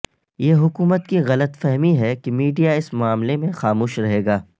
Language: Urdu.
یہ حکومت کی غلط فہمی ہے کہ میڈیا اس معاملے میں خاموش رہے گا